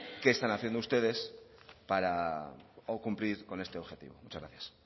qué están haciendo ustedes para cumplir con este objetivo muchas gracias